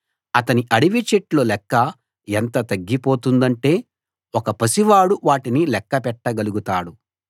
అతని అడవిచెట్ల లెక్క ఎంత తగ్గిపోతుందంటే ఒక పసివాడు వాటిని లెక్కపెట్టగలుగుతాడు